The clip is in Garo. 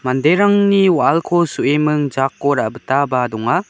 manderangni wa·alko so·eming jako ra·bitaba donga.